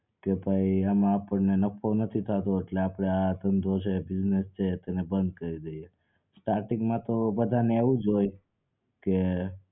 કે ભાઈ એમાં આપણને નફો નથી થાતો એટલે આપડે આ ધંધો છે business છે એને બંદ કરી દઈએ starting માં તો બધાને એવુજ હોય કે